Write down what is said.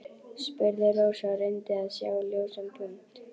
spurði Rósa og reyndi að sjá ljósan punkt.